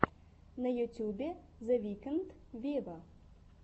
на ютюбе зе викнд вево